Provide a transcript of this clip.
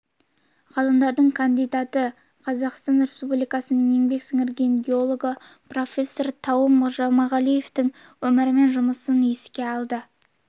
ғылымдарының кандидаты қазақстан республикасының еңбек сіңірген геологы профессор тауым жұмағалиевтің өмірі мен жұмысын еске алды